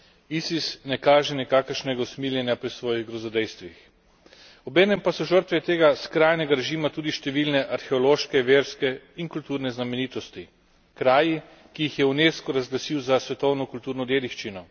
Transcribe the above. ISIS ne kaže nikakršnega usmiljenja pri svojih grozodejstvih. Obenem pa so žrtve tega skrajnega režima tudi številne arheološke, verske in kulturne znamenitosti, kraji, ki jih je Unesco razglasil za svetovno kulturno dediščino.